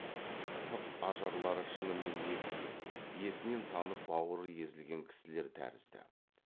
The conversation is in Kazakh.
сырт ажарлары шынымен егілген есінен танып бауыры езілген кісілер тәрізді